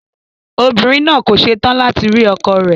Obìnrin náà kò se tán láti rí ọkọ rẹ̀.